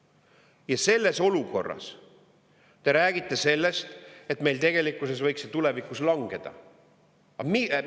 Ja selles olukorras te räägite sellest, et meil tegelikkuses võiks see tulevikus langeda!